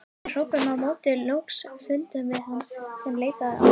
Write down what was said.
Við hrópuðum á móti og loks fundum við þann sem leitaði okkar.